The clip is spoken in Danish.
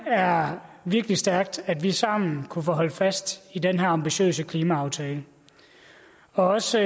er virkelig stærkt at vi sammen kunne holde fast i den her ambitiøse klimaaftale også